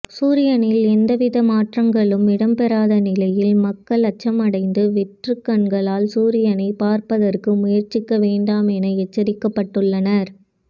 சூரியனில் எந்தவித மாற்றங்களும் இடம்பெறாத நிலையில் மக்கள் அச்சமடைந்து வெற்றுக் கண்களால் சூரியனை பார்ப்பதற்கு முயற்சிக்க வேண்டாம் என எச்சரிக்கப்பட்டுள்ளனர்